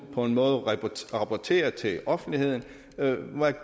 rapportere til offentligheden